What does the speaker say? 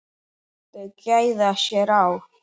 Þau gæða sér á